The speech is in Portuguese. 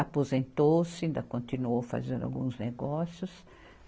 Aposentou-se, ainda continuou fazendo alguns negócios.